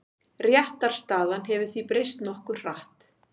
Réttarstaðan hefur því breyst nokkuð hratt.